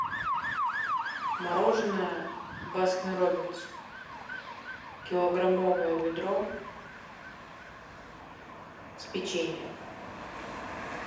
мороженое баскин роббинс килограммовое ведро с печеньем